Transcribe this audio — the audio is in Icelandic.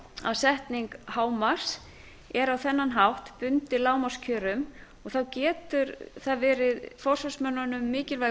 að setning hámarks er á þennan hátt bundið lágmarkskjörum og það getur verið forsvarsmönnunum mikilvægur